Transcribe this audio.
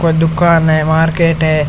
कोई दुकान है मार्केट है।